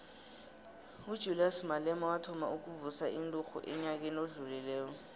ujulias malema wathoma ukuvusa inturhu enyakeni odlulileko